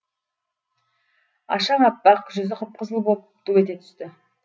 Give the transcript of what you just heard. ашаң аппақ жүзі қып қызыл боп ду ете түсті